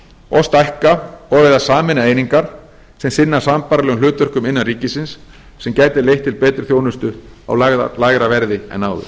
og stækka og eða sameina einingar sem sinna sambærilegum hlutverkum innan ríkisins sem gæti leitt til betri þjónustu á lægra verði en áður